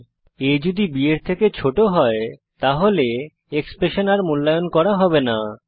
a যদি b এর থেকে ছোট হয় তাহলে এক্সপ্রেশন আর মূল্যায়ন করা হবে না